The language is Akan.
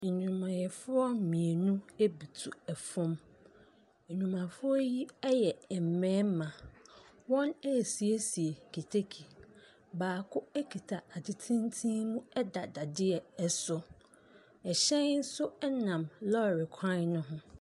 Nnwumayɛfoɔ mmienu butu fam. Nnwumayɛfoɔ yi yɛ mmarima. Wɔresiesie keteke. Baako kita ade tenten mu da dadeɛ so. Ɛhyɛn nso nam lɔɔre kwan no ho.